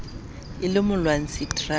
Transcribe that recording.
e le molwantshi terameng ee